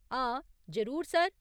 हां, जरूर सर।